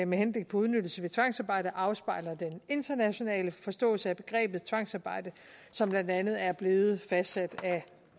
med henblik på udnyttelse ved tvangsarbejde afspejler den internationale forståelse af begrebet tvangsarbejde som blandt andet er blevet fastsat